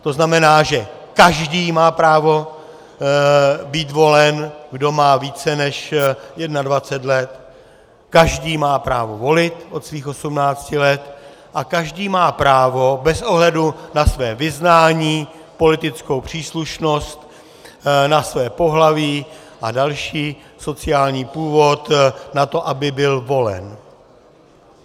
To znamená, že každý má právo být volen, kdo má více než 21 let, každý má právo volit od svých 18 let a každý má právo bez ohledu na své vyznání, politickou příslušnost, na své pohlaví a další, sociální původ, na to, aby byl volen.